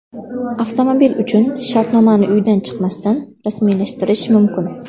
Avtomobil uchun shartnomani uydan chiqmasdan rasmiylashtirish mumkin.